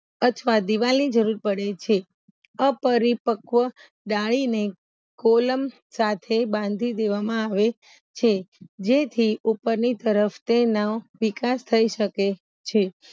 અથવા દીવાલની જરૂર પડે છે અપરીપક્વા ગાણીને કોલમ સાથે બાંધી દેવામાં આવે છે જેથી ઉપરની તરફ તેમનો વિકાસ થય સકે છે